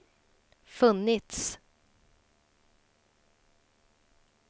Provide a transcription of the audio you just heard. funnits